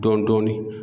Dɔɔnin dɔɔnin